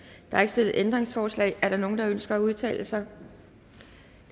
er ikke stillet ændringsforslag er der nogen der ønsker at udtale sig